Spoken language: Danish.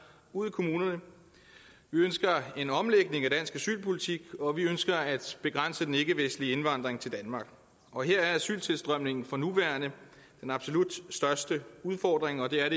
ude i kommunerne vi ønsker en omlægning af dansk asylpolitik og vi ønsker at begrænse den ikkevestlige indvandring til danmark og her er asyltilstrømningen for nuværende den absolut største udfordring og det er